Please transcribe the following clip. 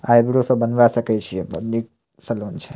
Eyebrow सब बनवा सके छिये एमें निक सैलून छै।